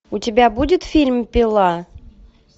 у тебя будет фильм пила